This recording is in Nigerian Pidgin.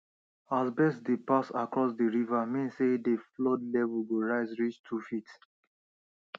as birds dey pass across d river mean sey dey flood level go rise reach two feet